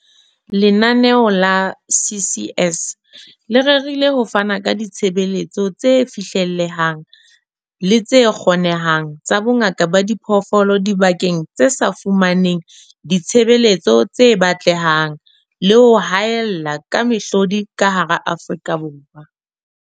Lenaneo la CCS le rerile ho fana ka ditshebeletso tse fihlellehang le tse kgonehang tsa bongaka ba diphoofolo dibakeng tse sa fumaneng ditshebeletso tse batlehang le ho haella ka mehlodi ka hara Afrika Borwa.